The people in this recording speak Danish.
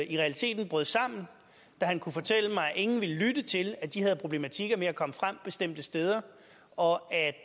i realiteten brød sammen da han kunne fortælle mig at ingen ville lytte til at de havde problematikker med at komme frem bestemte steder og